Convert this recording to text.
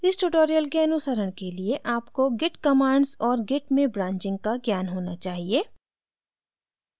इस tutorial के अनुसरण के लिए आपको git commands और git में branching का ज्ञान होना चाहिए